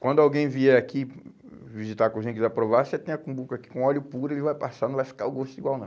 Quando alguém vier aqui visitar a cozinha e quiser provar, você tem a cumbuca aqui com óleo puro, ele vai passar, não vai ficar o gosto igual não.